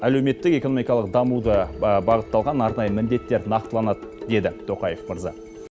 әлеуметтік экономикалық дамуыға бағытталған арнайы міндеттер нақтыланады деді тоқаев мырза